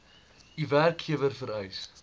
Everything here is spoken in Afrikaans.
u werkgewer vereis